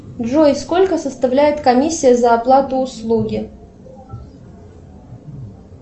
джой сколько составляет комиссия за оплату услуги